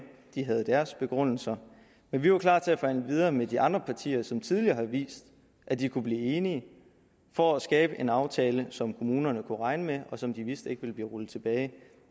de havde deres begrundelser men vi var klar til at forhandle videre med de andre partier som tidligere har vist at de kunne blive enige for at skabe en aftale som kommunerne kunne regne med og som de vidste ikke ville blive rullet tilbage